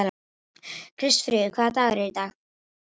Kristfríður, hvaða dagur er í dag?